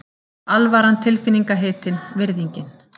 Alvaran tilfinningahitinn, virðingin.